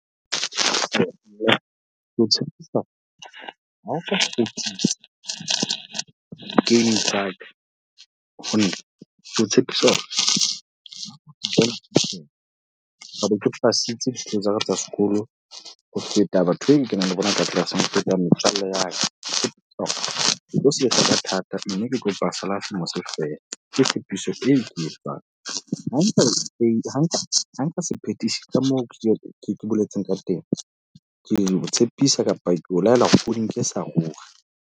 Tshepisa hore ha o ka di-game tsa ka ho nna. Ke o tshepisa hore tlabe ke pasitse dihlopha tsa ka tsa sekolo ho feta batho be e kenang le bona ka tlelaseng, ho feta metswalle ya ka. Ke tlo sebetsa ka thata, mme ke kopa feela hle mose fela. Ke tshepiso eo ke e etsang. Ha nka se phethisa ka moo ke boletseng ka teng, ke tshepisa kapa ko laela o di nke sa ruri.